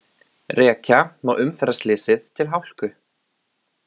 Rekja má umferðarslysið til hálku